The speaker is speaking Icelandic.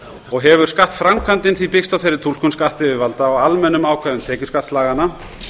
og hefur skattframkvæmdin því byggst á þeirri túlkun skattyfirvalda á almennum ákvæðum tekjuskattslaganna